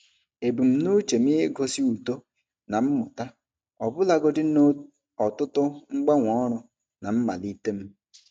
Ebumnuche m igosi uto na mmụta ọbụlagodi na ọtụtụ mgbanwe ọrụ na mmalite m.